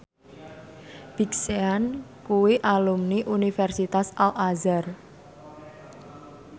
Big Sean kuwi alumni Universitas Al Azhar